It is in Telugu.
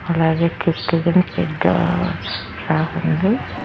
అలాగే పెద్ద రాసి ఉంది.